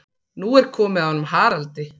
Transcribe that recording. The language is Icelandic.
Nú er komið að honum Haraldi.